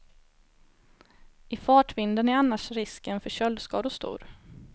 I fartvinden är annars risken för köldskador stor.